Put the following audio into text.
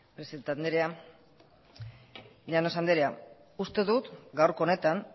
presidente andrea llanos andrea uste dut gaurko honetan